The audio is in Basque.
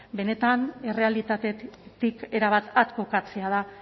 benetan errealitatetik erabat at kokatzea da